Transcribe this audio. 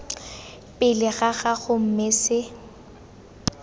pele ga gago mme se